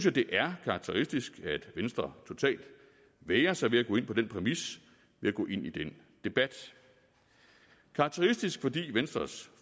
at det er karakteristisk at venstre totalt vægrer sig ved at gå ind på den præmis ved at gå ind i den debat karakteristisk fordi venstres